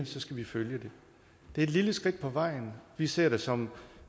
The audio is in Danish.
så skal vi følge det det er et lille skridt på vejen vi ser det som